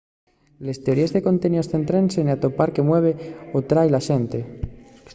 les teoríes de conteníos céntrense n’atopar qué mueve o atrái a la xente